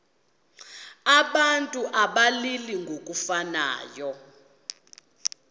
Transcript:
abantu abalili ngokufanayo